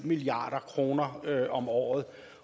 milliard kroner om året